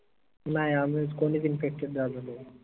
नाई आम्हीच कोनीच infected झालो नाई